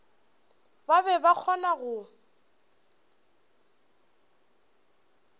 ba be ba kgona go